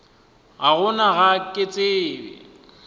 ka gona ga ke tsebe